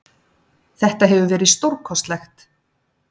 Þetta hefur verið stórkostlegt.